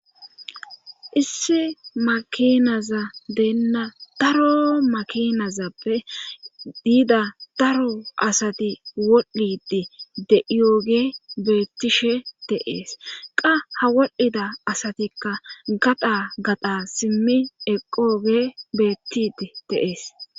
Issi makinaza deenna daro makinazappe diida daro asati wodhdhidi de7iyooge beettishe teees qa ha wodhdhida asatikka gada gada simmi eqooge beettid teees